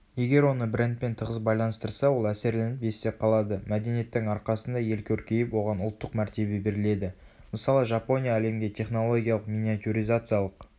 егер оны брендпен тығыз байланыстырса ол әсерленіп есте қалады мәдениеттің арқасында ел көркейіп оған ұлттық мәртебе беріледі.мысалы жапония әлемге технологиялық миниатюризациялық